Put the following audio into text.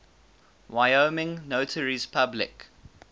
wyoming notaries public